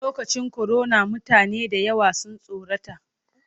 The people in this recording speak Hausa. Lokacin korona mutane da yawa sun tsorata.